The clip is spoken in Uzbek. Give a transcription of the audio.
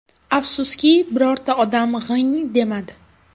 Afsuski, birorta odam g‘ing demadi.